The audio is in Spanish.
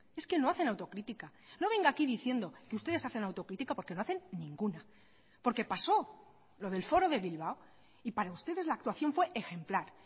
es que no hacen autocrítica no venga aquí diciendo que ustedes hacen autocrítica porque no hacen ninguna porque pasó lo del foro de bilbao y para ustedes la actuación fue ejemplar